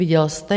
Viděl jste?